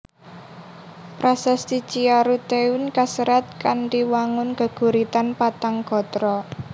Prasasti Ciaruteun kaserat kanthi wangun geguritan patang gatra